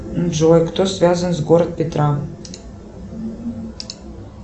джой кто связан с город петра